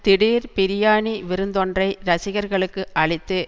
திடீர் பிரியாணி விருந்தொன்றை ரசிகர்களுக்கு அளித்து